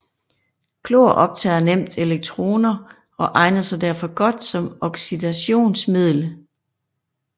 Klor optager nemt elektroner og egner sig derfor godt som oxidationsmiddel